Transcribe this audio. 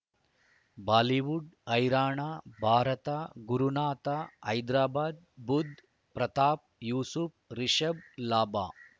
Bollywood ಹೈರಾಣ ಭಾರತ ಗುರುನಾಥ ಹೈದರಾಬಾದ್ ಬುಧ್ ಪ್ರತಾಪ್ ಯೂಸುಫ್ ರಿಷಬ್ ಲಾಭ